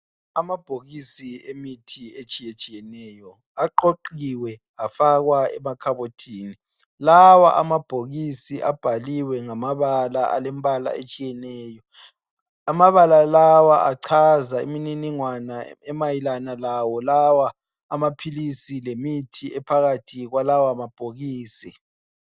Amabhokisi emithi etshiyetshiyeneyo aqoqiwe afakwa emakhabothini. Lawa amabhokisi abhaliwe ngamabala alembala etshiyeneyo. Amabala lawa achaza imininingwana emayelana lawo lawa amaphilisi lemithi ephakathi kwalawa mabhokisi.